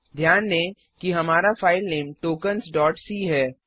ध्यान दें कि हमारा फाइलनेम टोकेंस c है